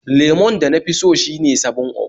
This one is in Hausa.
Lemon da nafi so shine 7up